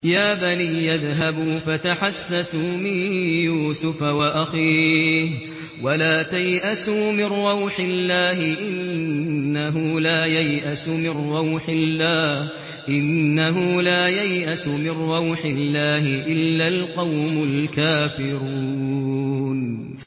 يَا بَنِيَّ اذْهَبُوا فَتَحَسَّسُوا مِن يُوسُفَ وَأَخِيهِ وَلَا تَيْأَسُوا مِن رَّوْحِ اللَّهِ ۖ إِنَّهُ لَا يَيْأَسُ مِن رَّوْحِ اللَّهِ إِلَّا الْقَوْمُ الْكَافِرُونَ